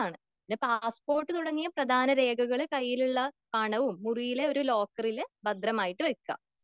പിന്നെ പാസ്പോർട്ട് തുടങ്ങിയ പ്രധാന രേഖകള് കയ്യിലുള്ള പണവും മുറിയിലുള്ള ലോക്കറിൽ ഭദ്രമായി വെക്ക.